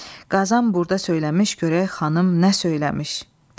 Qazan burda söyləmiş, görək xanım nə söyləmiş.